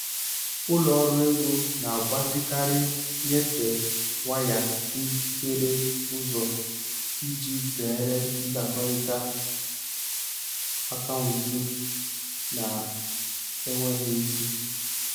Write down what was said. Ụlọ ọrụ ego na-agbazikarị nnyefe waya hiere ụzọ iji zere ndakọrịta akaụntụ na-enweghị isi.